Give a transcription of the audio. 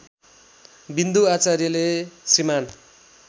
विन्दु आचार्यले श्रीमान्